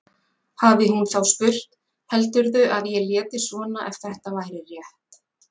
Hafi hún þá spurt: Heldurðu að ég léti svona ef þetta væri rétt?